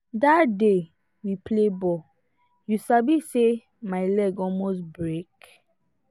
that day we play ball you sabi say my leg almost break